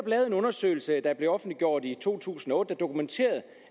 lavet en undersøgelse der blev offentliggjort i to tusind og otte dokumenterede